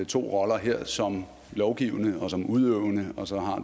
to roller her som lovgivende og som udøvende og så har